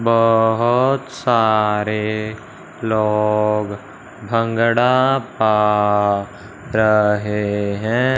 बहोत सारे लोग भांगड़ा पा रहे हैं।